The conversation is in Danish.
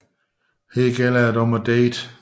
Her gælder det om at date